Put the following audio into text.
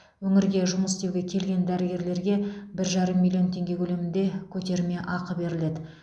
өңірге жұмыс істеуге келген дәрігерлерге бір жарым миллион теңге көлемінде көтермеақы беріледі